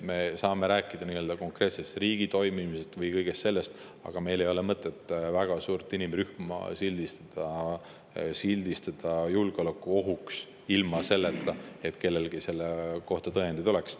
Me saame rääkida konkreetsest riigi toimimisest ja kõigest sellest, aga meil ei ole mõtet väga suurt inimrühma sildistada ja pidada julgeolekuohuks ilma selleta, et kellelgi selle kohta tõendeid oleks.